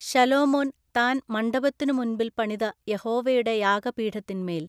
ശലോമോൻ താൻ മണ്ഡപത്തിന്നു മുമ്പിൽ പണിത യഹോവയുടെ യാഗപീഠത്തിന്മേൽ